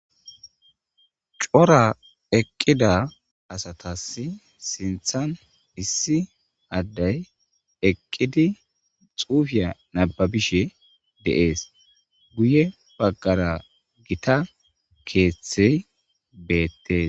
cora eqqida asatassi sinthan issi addey eqqidi xuufiya nababishe de'ees guye baggara gita keeththey beettes